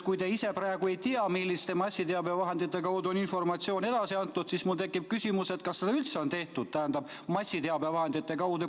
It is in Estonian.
Kui te ise praegu ei tea, milliste massiteabevahendite kaudu on informatsioon edasi antud, siis mul tekib küsimus, kas seda üldse on tehtud, tähendab, massiteabevahendite kaudu.